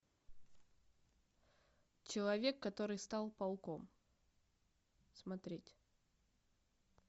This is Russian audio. человек который стал пауком смотреть